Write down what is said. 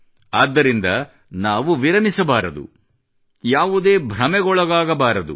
ಆದ್ದರಿಂದ ನಾವು ವಿರಮಿಸಬಾರದು ಯಾವುದೇ ಭ್ರಮೆಗೊಳಗಾಗಬಾರದು